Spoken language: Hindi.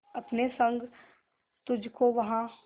अपने संग तुझको वहां